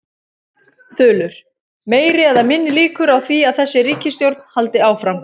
Þulur: Meiri eða minni líkur á því að þessi ríkisstjórn haldi áfram?